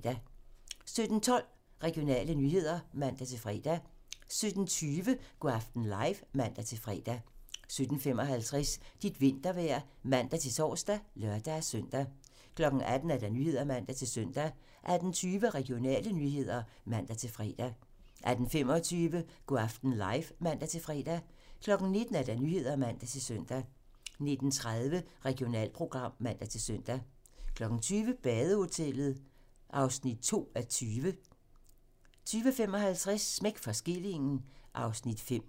17:12: Regionale nyheder (man-fre) 17:20: Go' aften live (man-fre) 17:55: Dit vintervejr (man-tor og lør-søn) 18:00: Nyhederne (man-søn) 18:20: Regionale nyheder (man-fre) 18:25: Go' aften live (man-fre) 19:00: Nyhederne (man-søn) 19:30: Regionalprogram (man-søn) 20:00: Badehotellet (2:20) 20:55: Smæk for skillingen (Afs. 5)